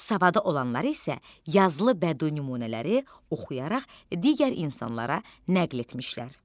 Savada olanlar isə yazılı bədii nümunələri oxuyaraq digər insanlara nəql etmişlər.